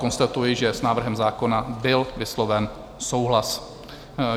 Konstatuji, že s návrhem zákona byl vysloven souhlas.